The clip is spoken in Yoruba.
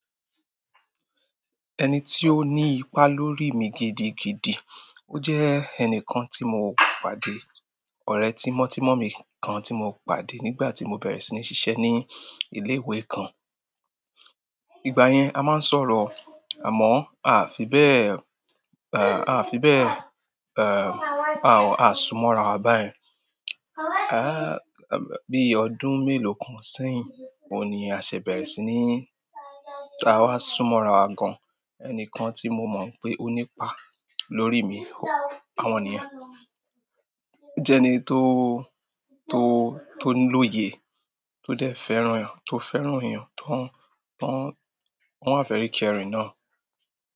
Ẹni tí ó ní ipa lórí mi gidigidi, ó jẹ́ ẹnìkan tí mo pàdé, ọ̀rẹ́ tímọ́tímọ́ mi kan tí mo pàdé nígbà tí mo bẹ̀rẹ̀ sí ní ṣiṣẹ́ ní ilé ìwé kan. Ìgbà yẹn a máa ń sọ̀rọ̀, àmọ́ aa fi bẹ́ẹ̀, a fi bẹ́ẹ̀, a sú mọ́ra wa báyẹn. Bí ọdún mélòó kan sẹ́yìn, òun ni a ṣè bẹ̀rẹ̀ sí ní, a wá sú mọ́ra wa gan-an. Ẹnìkan tí mo mọ̀ pé ó ní ipa lórí mi, àwọn ènìyàn jẹ́ ẹni tó lóye, tó dẹ̀ fẹ́ràn, tó fẹ́ràn èèyàn, tóń, wọ́n wá very caring náà.